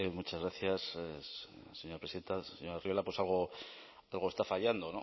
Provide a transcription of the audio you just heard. muchas gracias señora presidenta señor arriola algo está fallando